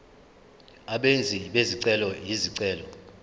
abenzi bezicelo izicelo